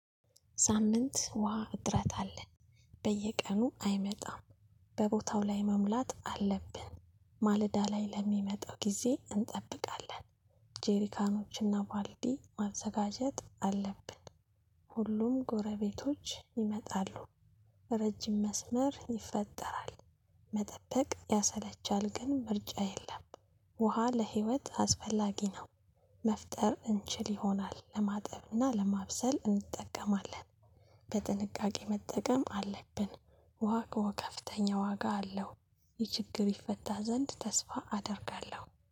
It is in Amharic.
ሳምንት ውሃ እጥረት አለ። በየቀኑ አይመጣም። በቦታው ላይ መሙላት አለብን ማለዳ ላይ ለሚመጣው ጊዜ እንጠብቃለን። ጄሪካኖች እና ባልዲ ማዘጋጀት አለብን። ሁሉም ጎረቤቶች ይመጣሉ። ረጅም መስመር ይፈጠራል። መጠበቅ ያሰለቻል ግን ምርጫ የለም። ውሃ ለህይወት አስፈላጊ ነው። መፍጠር እንችል ይሆናል ለማጠብ እና ለማብሰል እንጠቀማለን። በጥንቃቄ መጠቀም አለብን። ውሃ እኮ ከፍተኛ ዋጋ አለው። ይህ ችግር ይፈታ ዘንድ ተስፋ አደርጋለሁ